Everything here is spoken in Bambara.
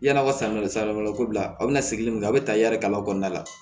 Yan'aw ka sanni kɛ sa bila a bɛ na segin min kɔ a bɛ ta yali ka kɔnɔna la